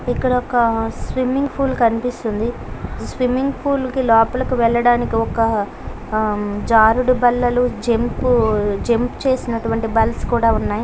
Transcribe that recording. ఇక్కడొక swimming pool కనిపిస్తుంది. Swimming కి పూల్ లోపలకి వెళ్ళడానికి ఒక ఉమ్ జరుడు బల్లలు జంప్ చేసినటువంటి బుల్‌ కుడా ఉన్నాయి.